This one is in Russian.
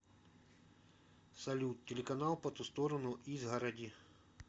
салют телеканал по ту сторону изгороди